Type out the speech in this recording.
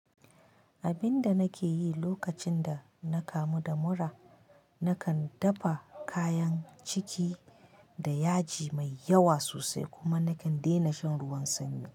Abin da nake yi lokacin da na kamu da mura, nakan dafa kayan ciki da yaji mai yawa sosai kuma nakan daina shan ruwan sanyi.